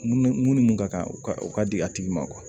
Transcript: Mun ni mun ni mun ka kan u ka di a tigi ma